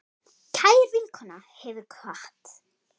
Kær vinkona hefur kvatt.